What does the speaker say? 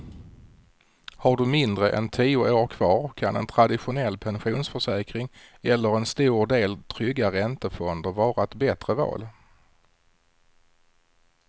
Har du mindre än tio år kvar kan en traditionell pensionsförsäkring eller en stor del trygga räntefonder vara ett bättre val.